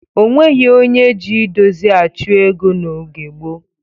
Onweghi onye ji idozi achụ ego n'oge gboo.